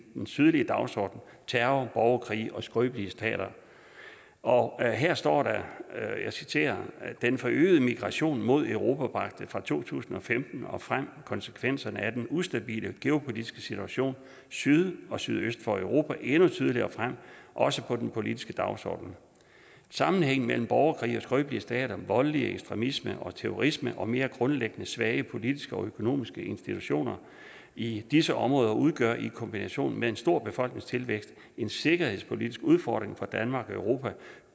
den sydlige dagsorden terror borgerkrige og skrøbelige stater og her står der og jeg citerer den forøgede migration mod europa bragte fra to tusind og femten og frem konsekvenserne af den ustabile geopolitiske situation syd og sydøst for europa endnu tydeligere frem også på den politiske dagsorden sammenhængen mellem borgerkrige og skrøbelige stater voldelig ekstremisme og terrorisme og mere grundlæggende svage politiske og økonomiske institutioner i disse områder udgør i kombination med en stor befolkningstilvækst en sikkerhedspolitisk udfordring for danmark og europa